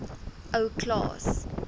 ou klaas